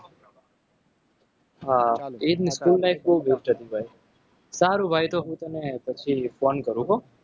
હા એજને school life બહુ best હતી. ભાઈ સારુ ભાઈ તો હું તને પછી phone કરું હો.